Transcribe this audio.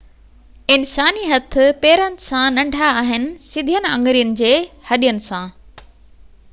انساني هٿ پيرن سان ننڍا آهن سڌين آڱرين جي هڏين سان